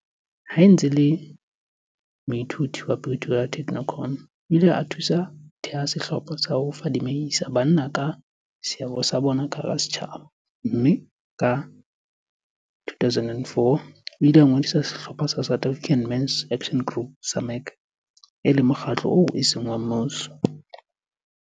Ha e ntse e le moithuti wa Pretoria Technikon, o ile a thusa ho theha sehlopha sa ho fadimehisa banna ka seabo sa bona ka hara setjhaba mme ka 2004, o ile a ngodisa sehlopha sa South African Men's Action Group, SAMAG, e le mokgatlo oo eseng wa mmuso.